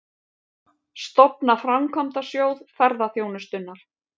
Stofna Framkvæmdasjóð ferðaþjónustunnar